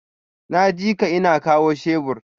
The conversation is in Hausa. Naji ka, ina kawo shebur.